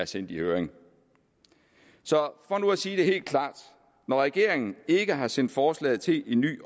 sendt i høring så for nu at sige det helt klart når regeringen ikke har sendt forslaget til en ny